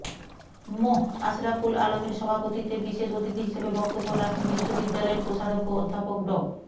মোঃ আশরাফুল আলমের সভাপতিত্বে বিশেষ অতিথি হিসেবে বক্তব্য রাখেন বিশ্ববিদ্যালয়ের কোষাধ্যক্ষ অ্ধ্যাপক ড